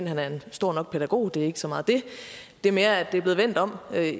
han er en stor nok pædagog det er ikke så meget det det er mere at det er blevet vendt om